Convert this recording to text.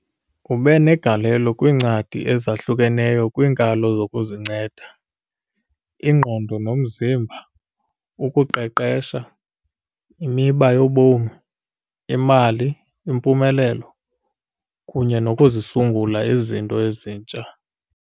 Ube negalelo kwiincwadi ezahlukeneyo kwiinkalo zokuzinceda, ingqondo nomzimba, ukuqeqesha, imiba yobomi, imali, impumelelo, kunye nokuzisungula izinto ezintsha.